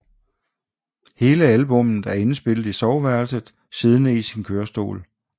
Hele albummet er indspillet i soveværelset siddende i sin kørestol